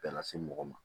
Bɛɛ lase mɔgɔ ma